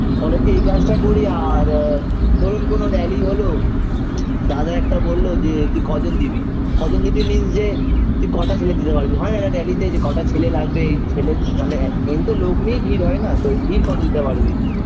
college -এ এই কাজটা করি আর ধরুন কোন rally হল দাদা একটা বলল যে তুই কজন দিবি কজন দিবি means যে তুই কটা ছেলে দিতে পারবি হয় না এটা একটা rally -তে যে কটা ছেলে লাগবে এই ছেলে মানে একদিনতো লোক নেই ভিড় হয়না তো ভিড় কত দিতে পারবি